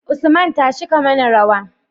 Usman tashi ka mana rawa